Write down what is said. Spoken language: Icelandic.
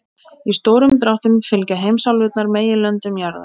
Í stórum dráttum fylgja heimsálfurnar meginlöndum jarðar.